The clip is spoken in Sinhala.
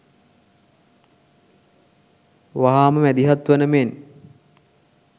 වහාම මැදිහත් වන මෙන්